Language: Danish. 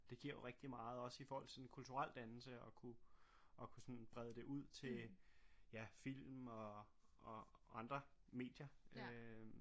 Det giver jo rigtig meget også i forhold til den kulturelle dannelse at kunne kunne sådan brede det ud til ja film og og andre medier øh